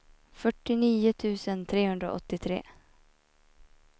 fyrtionio tusen trehundraåttiotre